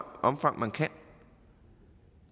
omfang man kan